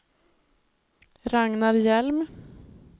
Ragnar Hjelm